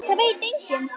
Það veit enginn